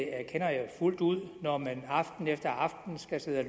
erkender jeg fuldt ud når man aften efter aften skal sidde og